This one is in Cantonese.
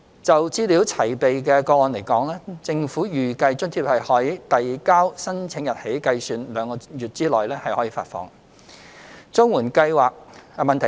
就資料齊備的個案而言，政府預計津貼可於遞交申請日起計兩個月內發放。